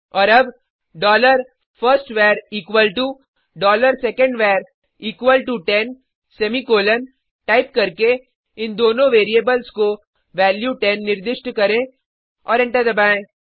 और अब dollar first var equal to dollar second var equal to ten semicolon type करके इन दोनों वेरिएबल्स को वैल्यू 10 निर्दिष्ट करें और एंटर दबाएँ